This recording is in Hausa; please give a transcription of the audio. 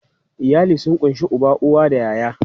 Iyali sun ƙunshi uba, uwa da ƴaƴa.